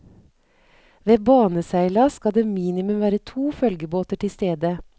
Ved baneseilas skal det minimum være to følgebåter tilstede.